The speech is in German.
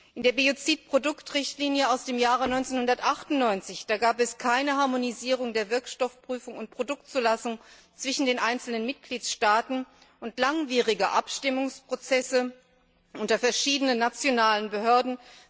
In der Biozidproduktrichtlinie aus dem Jahr 1998 gab es keine Harmonisierung der Wirkstoffprüfung und Produktzulassung zwischen den einzelnen Mitgliedsstaaten und langwierige Abstimmungsprozesse unter verschiedenen nationalen Behörden